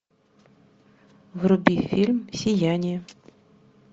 вруби фильм сияние